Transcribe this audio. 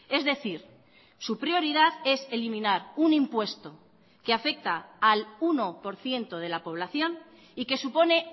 es decir su prioridad es eliminar un impuesto que afecta al uno por ciento de la población y que supone